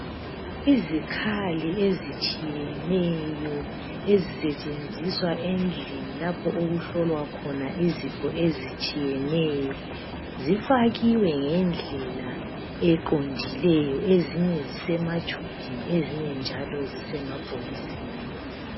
Izikhali ezitshiyeneyo, ezisetshenziswa endlini lapho okuhlolwa khona izifo ezitshiyeneyo. Zifakiwe ngendlela eqondileyo. Ezinye zisematshubhini. Ezinye njalo zisemabhokisini.